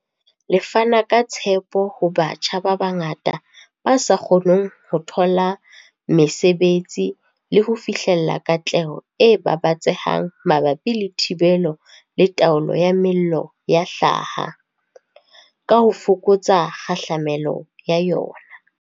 Le fana ka tshepo ho batjha ba bangata ba sa kgoneng ho thola mesebetsi le ho fihlella katleho e babatsehang mabapi le thibelo le taolo ya mello ya hlaha, ka ho fokotsa kgahlamelo ya yona.